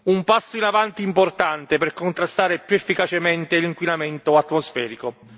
Un passo in avanti importante per contrastare più efficacemente l'inquinamento atmosferico.